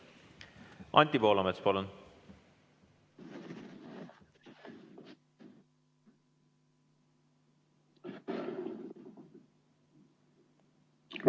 Anti Poolamets, palun!